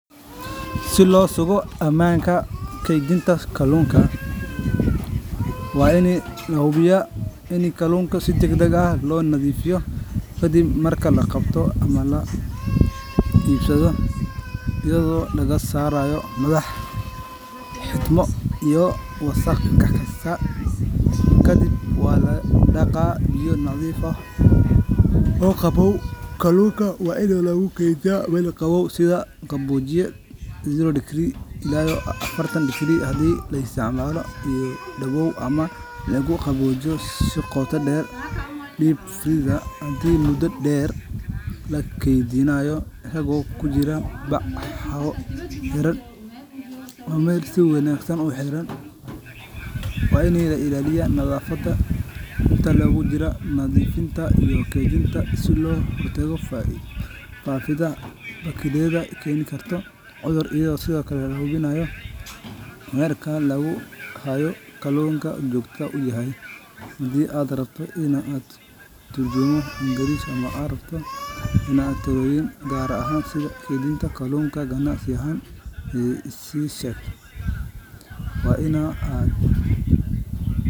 Si loo sugo amaanta kaluunka, waa in lanadiifiyo, ayado laga saaraya wasaq, biya nadiif lagu daqa, lagu keediya meel qaboow, si qooto deer iyo mudo deer, ayago kujira bac xiran, in la ilaaliyo nadafada, ayado lahubiyo meesha lagu haayo kaluunka, keedinta kalunka waa inaad.